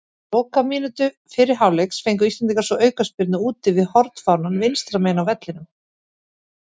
Á lokamínútu fyrri hálfleiks fengu íslendingar svo aukaspyrnu úti við hornfánann vinstra megin á vellinum.